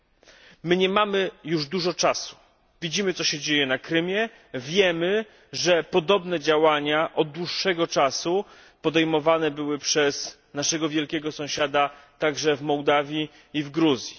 Nie pozostało nam już dużo czasu, widzimy, co się dzieje na Krymie, wiemy, że podobne działania od dłuższego czasu podejmowane były przez naszego wielkiego sąsiada także wMołdawii iwGruzji.